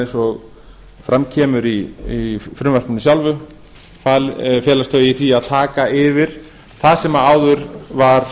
eins og fram kemur í frumvarpinu sjálfu felast þau í því að taka yfir það sem áður var